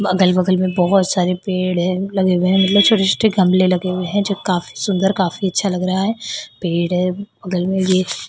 अगल बगल में बहोत सारे पेड़ हैं मतलब वेह मतलब छोटे छोटे गमले लगे हुए हैं जो काफी सुंदर काफी अच्छा लग रहा है पेड़ है बगल में भी--